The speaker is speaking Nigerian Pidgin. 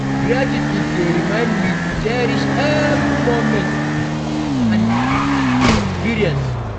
Gratitude dey remind me to cherish every moment and experience.